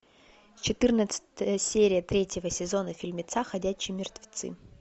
четырнадцатая серия третьего сезона фильмеца ходячие мертвецы